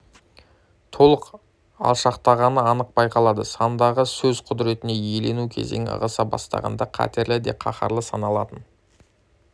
толық алшақтағаны анық байқалады санадағы сөз құдіретіне илану кезеңі ығыса бастағанда қатерлі де қаһарлы саналатын